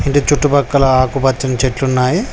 అంటే చుట్టుపక్కల ఆకుపచ్చని చెట్లు ఉన్నాయి.